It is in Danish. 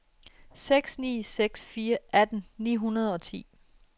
seks ni seks fire atten ni hundrede og ti